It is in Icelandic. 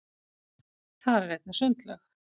þar er einnig sundlaug